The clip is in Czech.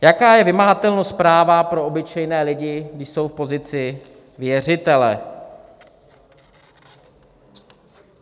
Jaká je vymahatelnost práva pro obyčejné lidi, když jsou v pozici věřitele?